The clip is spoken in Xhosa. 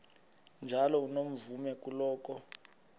njalo unomvume kuloko